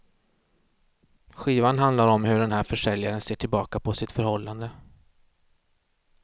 Skivan handlar om hur den här försäljaren ser tillbaka på sitt förhållande.